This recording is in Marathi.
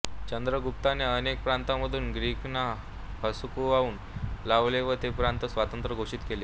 चंद्रगुप्ताने अनेक प्रांतांमधून ग्रीकांना हुसकावून लावले व ते प्रांत स्वतंत्र घोषित केले